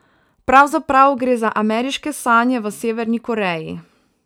Pravzaprav gre za ameriške sanje v Severni Koreji.